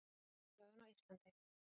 Jákvæð upplifun á Íslandi